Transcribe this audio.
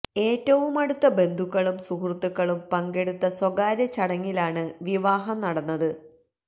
ഏറ്റവുമടുത്ത ബന്ധുക്കളും സുഹൃത്തുക്കളും പങ്കെടുത്ത സ്വകാര്യ ചടങ്ങിലാണ് വിവാഹം നടന്നത്